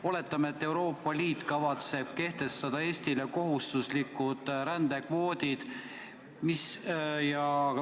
Oletame, et Euroopa Liit kavatseb kehtestada Eestile kohustuslikud rändekvoodid.